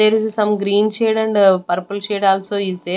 There is a some green shade and purple shade also is there.